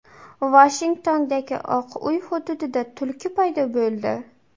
Vashingtondagi Oq uy hududida tulki paydo bo‘ldi.